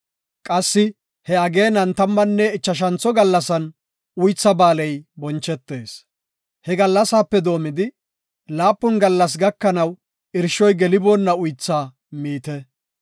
Qassi he ageenan tammanne ichashantho gallasan Uytha ba7aaley bonchetees; he gallasaape doomidi laapun gallas gakanaw irshoy geliboonna uytha miite.